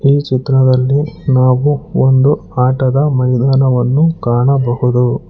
ಈ ಚಿತ್ರದಲ್ಲಿ ನಾವು ಒಂದು ಆಟದ ಮೈದಾನವನ್ನು ಕಾಣಬಹುದು.